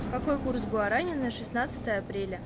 какой курс гуарани на шестнадцатое апреля